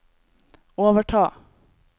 overta